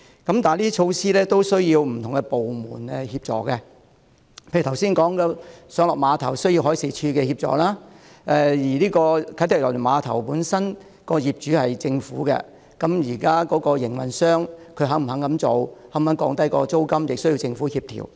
然而，這些措施均需要不同的部門協助，例如剛才提到的碼頭需要海事處協助；而啟德郵輪碼頭的業主雖然是政府，但現時的營運商是否願意這樣做和是否願意降低租金呢？